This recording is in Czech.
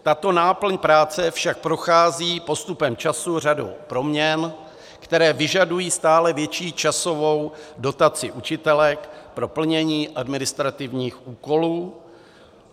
Tato náplň práce však prochází postupem času řadou proměn, které vyžadují stále větší časovou dotaci učitelek pro plnění administrativních úkolů.